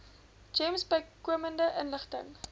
gems bykomende inligting